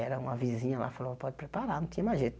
Era uma vizinha lá, falou, pode preparar, não tinha mais jeito.